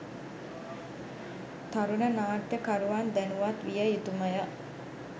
තරුණ නාට්‍ය කරුවන් දැනුවත් විය යුතුමය